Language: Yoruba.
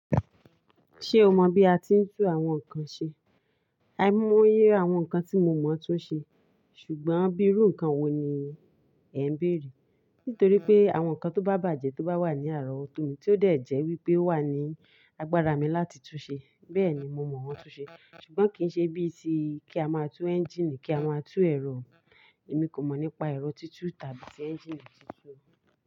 Ṣé o mọ bí a ti ń tú àwọn nǹkan ṣe? Aimo yé àwọn nǹkan tí mo mọ̀ tun ṣe, ṣùgbọ́n bí irú nǹkan wo ni ẹ ń béèrè? Nítorí pé àwọn nǹkan tó bá bàjẹ́ tó bá wà ní àárọ̀ wọto mi tí ó dẹ̀ jẹ́ wípé o wà ní agbára mi láti tú ṣe, bẹ́ẹ̀ ni mo mọ̀ wọ́n tú ṣe. Ṣùgbọ́n kì í ṣe bíi ti kí a máa tú ẹ́ńjíìnì kí a máa tú ẹ̀rọ, èmi kò mọ̀ nípa ẹ̀rọ títú tàbí tí ẹ́ńjíìnì títú.